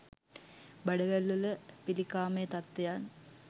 බඩවැල් වල පිළිකාමය තත්වයන්